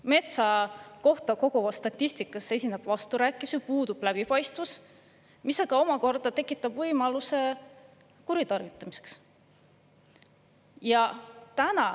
Metsa kohta kogutavas statistikas esineb vasturääkivusi, puudub läbipaistvus, mis omakorda tekitab võimaluse kuritarvitamiseks.